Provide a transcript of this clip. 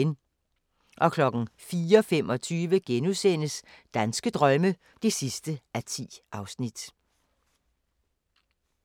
04:25: Danske drømme (10:10)*